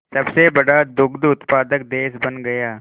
सबसे बड़ा दुग्ध उत्पादक देश बन गया